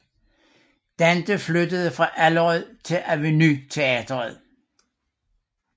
Dante flyttede fra Allerød til Aveny Teatret